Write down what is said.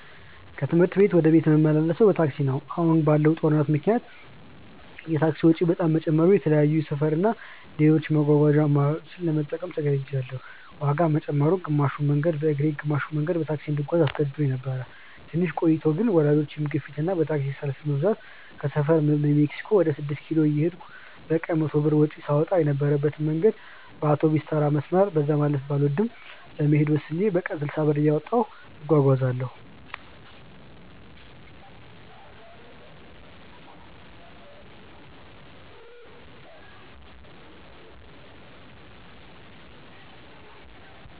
ከትምህርት ቤት ወደ ቤት ምመላለሰው በታክሲ ነው። አሁን ባለው ጦርነት ምክንያት የታክሲ ወጪ በጣም መጨመሩ የተለያዩ የሰፈር እና ሌሎች የመጓጓዣ አማራጮችን ለመጠቀም ተገድጅያለው። ዋጋ መጨመሩ፣ ግማሽ መንገዱን በእግሬ ግማሽ መንገዱን በታክሲ እንድጓዝ አስገድዶኝ ነበር። ትንሽ ቆይቶ ግን በወላጆቼ ግፊት እና በታክሲ ሰልፍ መብዛት ከሰፈሬ በሜክሲኮ ወደ ስድስት ኪሎ እየሄድኩ በቀን 100 ብር ወጪ ሳወጣ የነበረበትን መንገድ በአውቶቢስተራ መስመር (በዛ ሰፈር ማለፍ ባልወድም) ለመሄድ ወስኜ በቀን 60 ብር እያወጣሁ እጓጓዛለው።